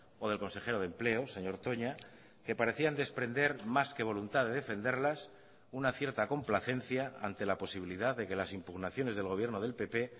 o del consejero de empleo señor toña que parecían desprender más que voluntad de defenderlas una cierta complacencia ante la posibilidad de que las impugnaciones del gobierno del pp